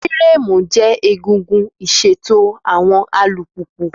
Fírámù jẹ́ egungun ìṣètò àwọn alùpùpù.